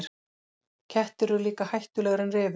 Kettir eru líka hættulegri en refir.